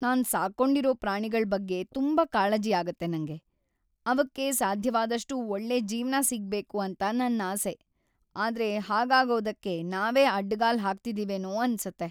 ನಾನ್‌ ಸಾಕ್ಕೊಂಡಿರೋ ಪ್ರಾಣಿಗಳ್ ಬಗ್ಗೆ ತುಂಬಾ ಕಾಳಜಿ ಆಗತ್ತೆ ನಂಗೆ.. ಅವಕ್ಕೆ ಸಾಧ್ಯವಾದಷ್ಟೂ ಒಳ್ಳೆ ಜೀವ್ನ ಸಿಗ್ಬೇಕು ಅಂತ ನನ್ನಾಸೆ. ಆದ್ರೆ ಹಾಗಾಗೋದಕ್ಕೆ ನಾವೇ ಅಡ್ಡ್‌ಗಾಲ್ ಹಾಕ್ತಿದಿವೇನೋ ಅನ್ಸತ್ತೆ.